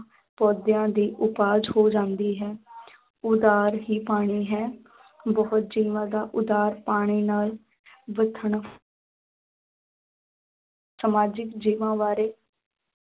ਪੌਦਿਆਂ ਦੀ ਉਪਜ ਹੋ ਜਾਂਦੀ ਹੈ ਆਧਾਰ ਹੀ ਪਾਣੀ ਹੈ ਬਹੁਤ ਜੀਵਾਂ ਦਾ ਉਧਾਰ ਪਾਣੀ ਨਾਲ ਸਮਾਜਿਕ ਜੀਵਾਂ ਬਾਰੇ